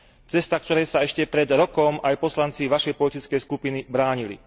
Cesta, ktorej sa ešte pred rokom aj poslanci Vašej politickej skupiny bránili.